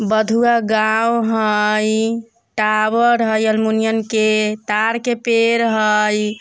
बधुआ गाँव हई। टावर हई अल्मुनिन के तार के पेड़ हई।